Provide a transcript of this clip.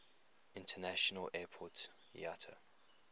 international airport iata